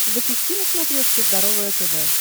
запусти на смотрешке здоровое тв